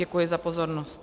Děkuji za pozornost.